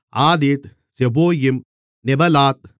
ஆதீத் Zeboim Neballat